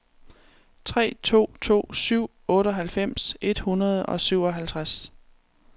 tre to to syv otteoghalvfems et hundrede og syvoghalvtreds